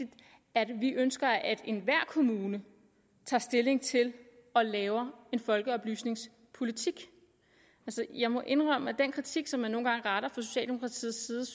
at vi ønsker at enhver kommune tager stilling til og laver en folkeoplysningspolitik jeg må indrømme at den kritik som man nogle gange retter fra socialdemokratiets side